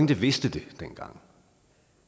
der vidste det dengang